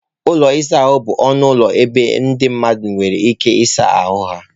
Ụlọ ịsa ahụ bụ ọnụ ụlọ ebe ndị mmadụ nwere ike ịsa ahụ ha.